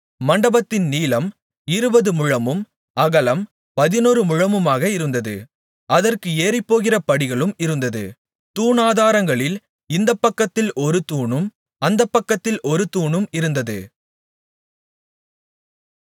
மண்டபத்தின் நீளம் இருபது முழமும் அகலம் பதினொரு முழமுமாக இருந்தது அதற்கு ஏறிப்போகிற படிகளும் இருந்தது தூணாதாரங்களில் இந்தப்பக்கத்தில் ஒரு தூணும் அந்தப்பக்கத்தில் ஒரு தூணும் இருந்தது